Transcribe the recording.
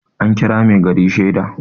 an kira mai gari shaida